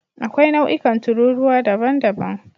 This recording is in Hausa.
Akwai nau'ikan tururuwa daban-daban.